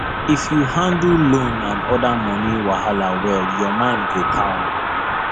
if you handle loan and other money wahala well your mind go calm